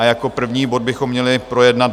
A jako první bod bychom měli projednat